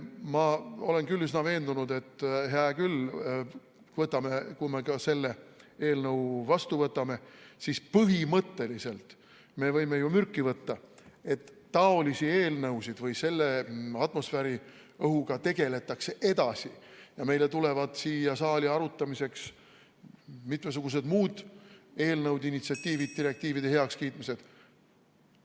Ma olen üsna veendunud, et hea küll, kui me ka selle eelnõu vastu võtame, siis põhimõtteliselt me võime ju mürki võtta, et atmosfääriõhuga tegeldakse edasi ja meile tulevad siia saali arutamiseks mitmesugused muud eelnõud ja initsiatiivid, direktiivide heakskiitmised.